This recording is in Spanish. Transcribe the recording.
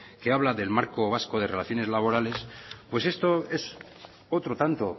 que habla del marco vasco de relaciones laborales pues esto es otro tanto